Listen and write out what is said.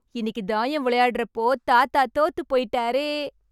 இன்னிக்கு தாயம் விளையாட்றப்போ தாத்தா தோத்துப்போய்ட்டாரே...